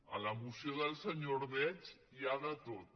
a la moció del senyor ordeig hi ha de tot